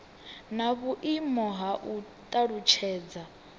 na vhuimo ha u talutshedza